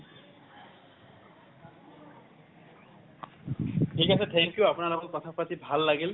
থিক আছে thank you আপোনাৰ লগত কথা পাতি ভাল লাগিল।